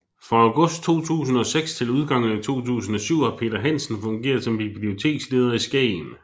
Fra august 2006 til udgangen af 2007 har Peter Hansen fungeret som biblioteksleder i Skagen